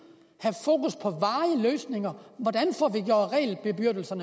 og løsninger hvordan